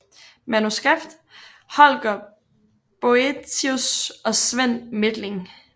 Manuskript Holger Boëtius og Svend Methling